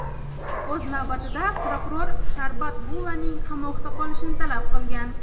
O‘z navbatida, prokuror Sharbat Gulaning qamoqda qolishini talab qilgan.